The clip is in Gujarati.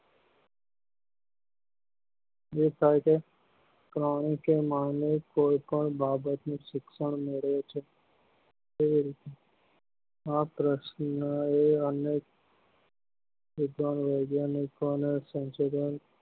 દેખાય છે કારણ કે માનવી કોઈ પણ બાબત નું શિક્ષણ મેળવે છે એ માત્ર બધા વૈજ્ઞાનિકો ના સંશોધન